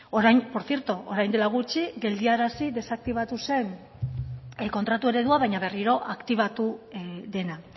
por cierto orain dela gutxi geldiarazi desaktibatu zen kontratu eredua baina berriro aktibatu dena